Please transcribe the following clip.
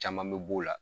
Caman bɛ b'o la